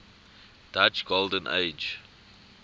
dutch golden age